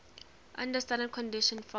under standard conditions from ch